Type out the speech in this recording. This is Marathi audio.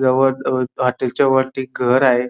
हॉटेलच्या वरती घर आहे.